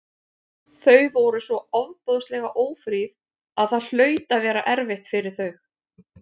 Þau voru svo ofboðslega ófríð að það hlaut að vera erfitt fyrir þau.